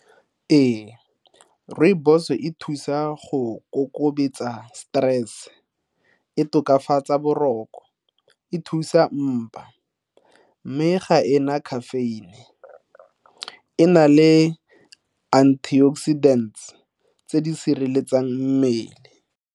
Ee, rooibos e thusa go stress, e tokafatsa boroko, e thusa mpa mme ga ena caffeine, e na le antioxidants tse di sireletsang mmele.